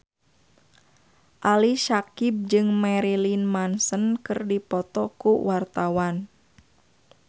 Ali Syakieb jeung Marilyn Manson keur dipoto ku wartawan